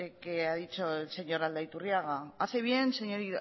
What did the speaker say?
que ha dicho el señor aldaiturriaga hace bien señor